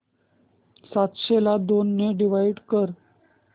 सातशे ला दोन ने डिवाइड कर